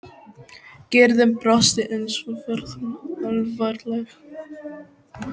Gerður brosti en svo varð hún alvarleg.